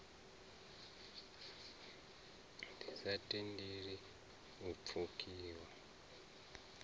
ḓi sa tendeli u pfukiwa